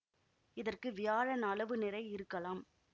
இதற்கு வியாழன் அளவு நிறை இருக்கலாம்